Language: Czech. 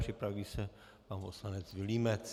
Připraví se pan poslanec Vilímec.